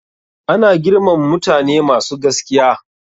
Ana girmama mutane masu gaskiya.